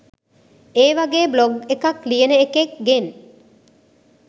ඒවගේ බ්ලොග් එකක් ලියන එකෙක් ගෙන්